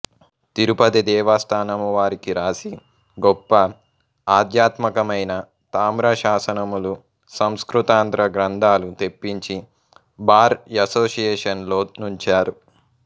తిరుపతి దేవస్తానమువారికి వ్రాసి గొప్ప ఆధ్యాత్మకమైన తామ్రశాసనములు సంస్కృతాంధ్ర గ్రంథాలు తెప్పించి బార్ యసోసియేషన్లో నుంచారు